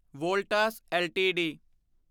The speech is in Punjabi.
ਵੋਲਟਾਸ ਐੱਲਟੀਡੀ